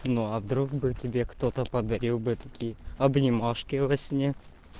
ну а вдруг бы тебе кто-то подарил бы такие обнимашки во сне